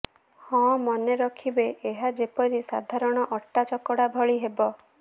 ହଁ ମନେ ରଖିବେ ଏହା ଯେପରି ସାଧାରଣ ଅଟା ଚକଟା ଭଳି ହେବ